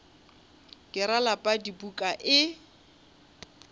ke ra lapa dipuku e